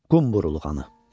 Qumburul ağanı.